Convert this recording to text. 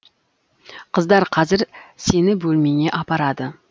қыздар қазір сені бөлмеңе апарады